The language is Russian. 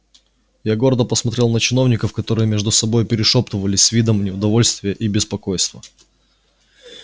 я гордо посмотрел на чиновников которые между собою перешёптывались с видом неудовольствия и беспокойства